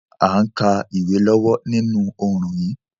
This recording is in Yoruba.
A n ka ìwé lọ́wọ́ ninú oorùn yi